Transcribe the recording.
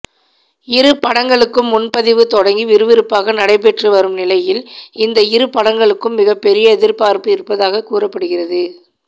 இரு படங்களுக்கும் முன்பதிவு தொடங்கி விறுவிறுப்பாக நடைபெற்று வரும் நிலையில் இந்த இரு படங்களுக்கும் மிகப்பெரிய எதிர்பார்ப்பு இருப்பதாக கூறப்படுகிறது